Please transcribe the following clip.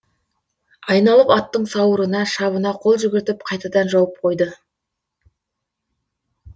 айналып аттың сауырына шабына қол жүгіртіп қайтадан жауып қойды